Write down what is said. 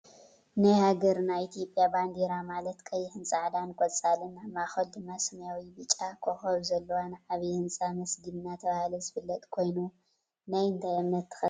ናይ ሃገርና ኢትዮጵያ ባንዴራ ማለት ቀይሕን ፃዕዳን ቆፃልን ኣብ ማእከሉ ድማ ሰማያዊ ብጫ ኮከብ ዘለዋን ዓብይ ህንፃ መስጊድ እናተባህለ ዝፍለጥ ኮይኑ ናይ እንታይ እምነት ተከተልቲ እዩ?